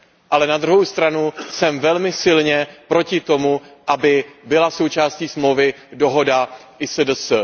Ale na druhou stranu jsem velmi silně proti tomu, aby byla součástí smlouvy dohoda ISDS.